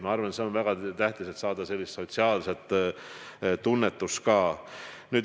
Ma arvan, et see on väga tähtis, et saada sellist sotsiaalset tunnetust.